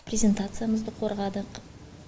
презентациямызды қорғадық